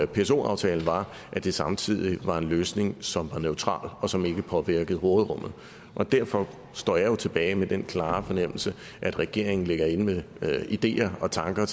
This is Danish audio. pso aftalen var at det samtidig var en løsning som var neutral og som ikke påvirkede råderummet og derfor står jeg tilbage med den klare fornemmelse at regeringen ligger inde med ideer og tanker